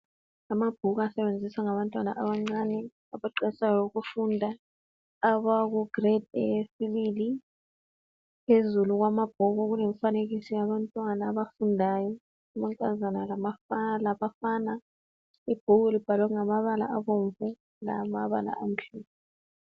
Amabhuku asebenziswa ngabantwana abancane abaqalisayo ukufunda abaku grade yesibili phezulu kwamabhuku kulemifanekiso yabantwana abafundayo amankazana labafana ibhuku libhalwe ngamabala abomvu lamabala amhlophe